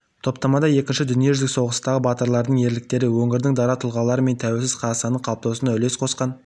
топтамада екінші дүниежүзілік соғыстағы батырлардың ерліктері өңірдің дара тұлғалары мен тәуелсіз қазақстанның қалыптасуына үлес қосқан